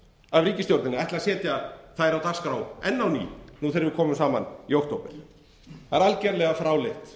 að ætla að setja þær á dagskrá enn á ný þegar við komum saman í október það er algjörlega fráleitt